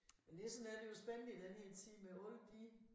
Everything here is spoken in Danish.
Men det sådan er det jo spændende i den her tid med alle de